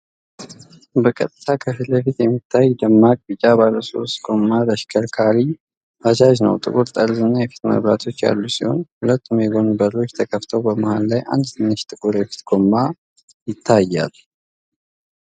በቀጥታ ከፊት ለፊት የሚታይ ደማቅ ቢጫ ባለሶስት ጎማ ተሽከርካሪ (ባጃጅ) ነው። ጥቁር ጠርዝና የፊት መብራቶች ያሉት ሲሆን፤ ሁለቱም የጎን በሮች ተከፍተዋል። በመሃል ላይ አንድ ትንሽ ጥቁር የፊት ጎማ ይታያል።